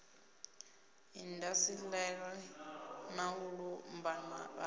indasiṱeri na u lumbama hashu